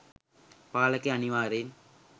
පාලකයා අනිවාර්යයෙන්